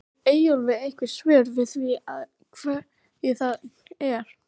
Hefur Eyjólfur einhver svör við því af hverju það er?